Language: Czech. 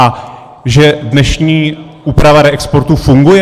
A že dnešní úprava reexportu funguje?